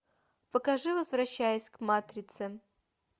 покажи возвращаясь к матрице